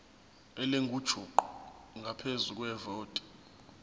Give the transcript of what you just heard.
elingujuqu ngaphezu kwevoti